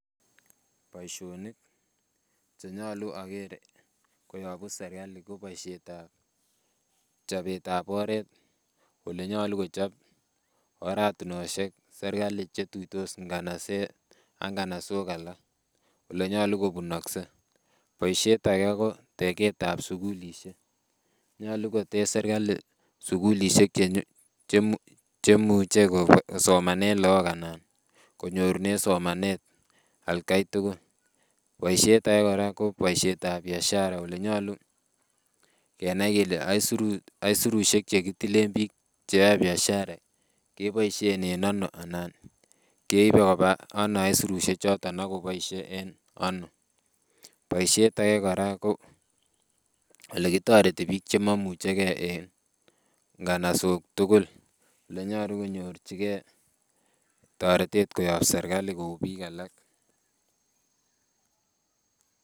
Boisionik chenyolu oker koyobu serkali ko boisiet ab chobet ab oret olenyolu kochop oratinosiek serkali chetuitos nganaset ak nganasok alak olenyolu kobunokse. Boisiet age ko tegeet ab sukulisiek, nyolu kotech serkali sukulisiek chemuche kosomanen look ana konyorunen somanet atkai tugul. Boisiet age kora ko boisiet ab biashara olenyolu kenai kele aisurusiek chekitilen biik cheyoe biashara keboisien en ano ana keibe koba ano aisurusiek choton akoboisie en ano. Boisiet age kora ko olekitoreti biik chemoimuchegee en nganasok tugul elenyolu konyorchigee toretet kobun serkali kou biik alak